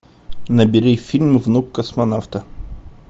набери фильм внук космонавта